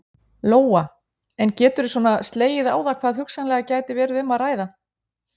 Lóa: En geturðu svona slegið á það hvað hugsanlega gæti verið um að ræða?